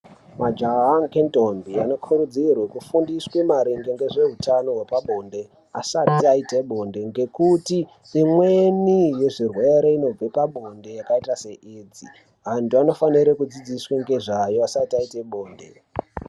Majaha ngentombi vane kurudziro rwekufundiswa maringe ngezvehutano hwepabonde asi asati aite bonde ngekuti imweni yezvirwere inobve pabonde yakaita seAids. Antu anofanire kudzidziswa ngezvayo asati aite bonde.